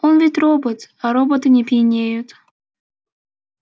он ведь робот а роботы не пьянеют